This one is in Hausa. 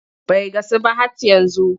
Bai gasu ba hhat yanzu.